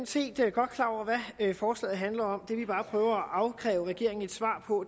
set godt klar over hvad forslaget handler om det vi bare prøver at afkræve regeringen et svar på